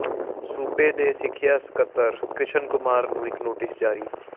ਸੂਬੇ ਦੇ ਸਿੱਖਿਆ ਸਕੱਤਰ ਕ੍ਰਿਸ਼ਨ ਕੁਮਾਰ ਨੂੰ ਇੱਕ ਨੋਟਿਸ ਜਾਰੀ